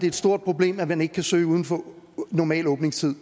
et stort problem at man ikke kan søge uden for normal åbningstid